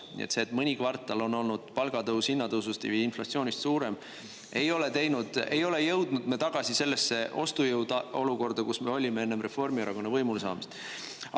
Nii et see, et mõni kvartal on olnud palgatõus hinnatõusust või inflatsioonist suurem, ei ole jõudnud me tagasi sellesse ostujõuolukorda, kus me olime enne Reformierakonna võimule saamist.